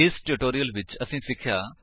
ਇਸ ਟਿਊਟੋਰਿਅਲ ਵਿੱਚ ਅਸੀਂ ਸਿੱਖਿਆ